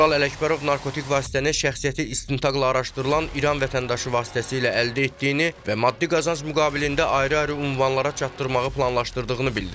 Tural Ələkbərov narkotik vasitəni şəxsiyyəti istintaqla araşdırılan İran vətəndaşı vasitəsilə əldə etdiyini və maddi qazanc müqabilində ayrı-ayrı ünvanlara çatdırmağı planlaşdırdığını bildirib.